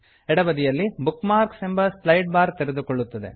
ಎಡಬದಿಯಲ್ಲಿ bookmarks book marks ಎಂಬ slide bar ತೆರೆದುಕೊಳ್ಳುತ್ತದೆ